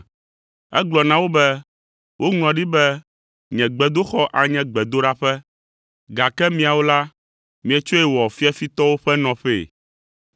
Egblɔ na wo be, “Woŋlɔ ɖi be, ‘Nye gbedoxɔ anye gbedoɖaƒe’, gake miawo la, mietsɔe wɔ ‘fiafitɔwo ƒe nɔƒee.’ ”